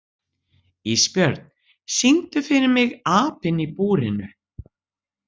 Ísbjörn, syngdu fyrir mig „Apinn í búrinu“.